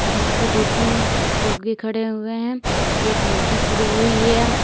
यहां पे दो तीन लोग भी खड़े हुए हैं एक लड़की खड़ी हुई है।